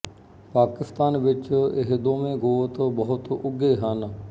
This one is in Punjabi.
ਪਾਕਿਸਤਾਨ ਵਿੱਚ ਇਹ ਦੋਵੇਂ ਗੋਤ ਬਹੁਤ ਉਘੇ ਹਨ